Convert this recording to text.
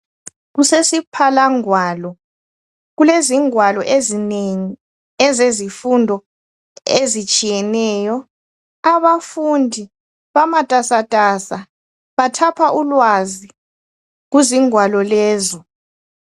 Kusesiphalangwalo kulezingwalo ezinengi ezezifundo ezitshiyeneyo, abafundi bamatasatasa bathapha ulwazi kuzingwalo lezi